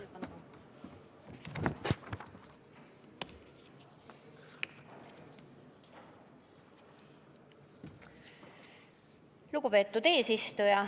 Lugupeetud eesistuja!